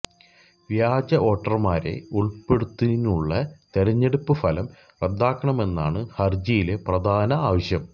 വ്യാജ വോട്ടര്മാരെ ഉള്പ്പെടുത്തിയുള്ള തെരഞ്ഞെടുപ്പ് ഫലം റദ്ദാക്കണമെനാണ് ഹര്ജിയിലെ പ്രധാന ആവശ്യം